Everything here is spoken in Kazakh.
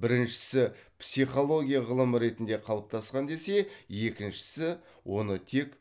біріншісі психология ғылым ретінде қалыптасқан десе екіншісі оны тек